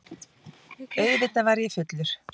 Auðvitað var ég fullur.